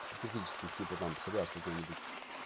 специфических типа там псориаз какой-нибудь